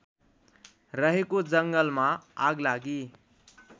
रहेको जङ्गलमा आगलागी